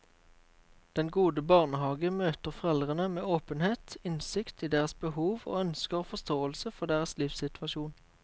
Den gode barnehage møter foreldrene med åpenhet, innsikt i deres behov og ønsker og forståelse for deres livssituasjon.